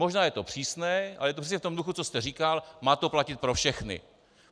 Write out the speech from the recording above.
Možná je to přísné, ale je to přesně v tom duchu, co jste říkal, má to platit pro všechny.